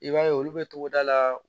I b'a ye olu bɛ togoda la